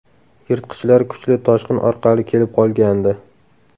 Yirtqichlar kuchli toshqin orqali kelib qolgandi.